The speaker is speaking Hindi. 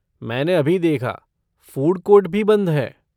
मैंने अभी देखा, फ़ूड कोर्ट भी बंद हैं।